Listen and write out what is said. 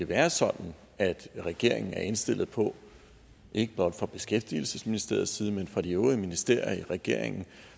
være sådan at regeringen er indstillet på ikke blot fra beskæftigelsesministeriets side men fra de øvrige ministerier i regeringen